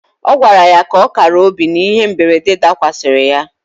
Ọ gwara ya ka ọ kara obi n'ihe mberede dakwasịrị ya.